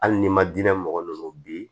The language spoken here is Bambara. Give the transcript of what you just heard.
Hali n'i ma dinɛ mɔgɔ min bi